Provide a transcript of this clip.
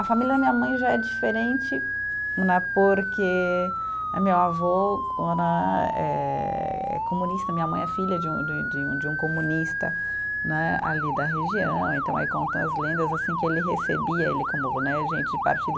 A família da minha mãe já é diferente né, porque meu avô né é comunista, minha mãe é filha de um, de um de um, de um comunista né ali da região, então aí contam as lendas assim que ele recebia, ele como né gente de partido.